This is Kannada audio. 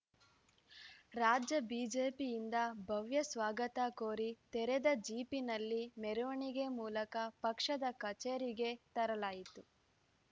ರಾಜ್ಯ ಬಿಜೆಪಿಯಿಂದ ಭವ್ಯ ಸ್ವಾಗತ ಕೋರಿ ತೆರೆದ ಜೀಪಿನಲ್ಲಿ ಮೆರವಣಿಗೆ ಮೂಲಕ ಪಕ್ಷದ ಕಚೇರಿಗೆ ತರಲಾಯಿತು